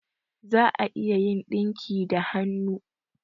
Za'a a iya yin dinki da hannu